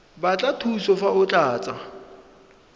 batla thuso fa o tlatsa